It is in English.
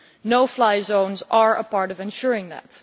No fly zones are a part of ensuring that.